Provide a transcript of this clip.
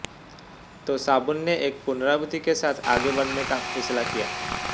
तो साबुन ने एक पुनरावृत्ति के साथ आगे बढ़ने का फैसला किया